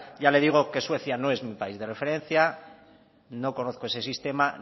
ya le digo que suecia no es mi país de referencia no conozco ese sistema